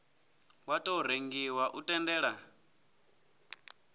wa tou rengiwa u tendela